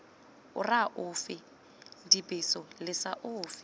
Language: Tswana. ora ofe dibeso lesa ofe